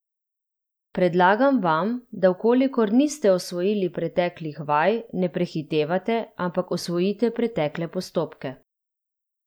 Predlagam vam, da v kolikor niste osvojili preteklih vaj, ne prehitevate, ampak osvojite pretekle postopke.